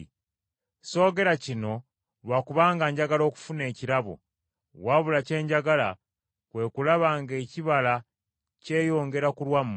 Soogera kino lwa kubanga njagala okufuna ekirabo, wabula kye njagala kwe kulaba ng’ekibala kyeyongera ku lwammwe.